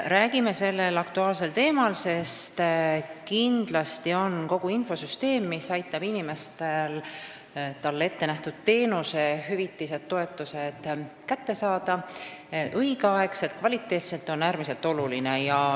Räägime sellel aktuaalsel teemal, sest kindlasti on äärmiselt oluline kogu see infosüsteem, mis aitab inimestel neile ettenähtud hüvitised ja toetused õigel ajal ja kvaliteetselt kätte saada.